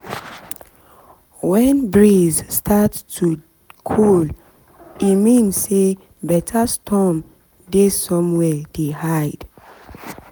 when breeze start to cold e mean say better storm dey somewhere dey hide